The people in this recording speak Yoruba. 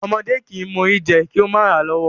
Ọmọdé kìí mọ Ori jẹ kí ó mà ràa lọ́wọ́.